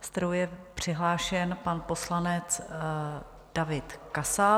se kterou je přihlášen pan poslanec David Kasal.